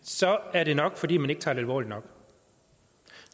er det nok fordi man ikke tager det alvorligt nok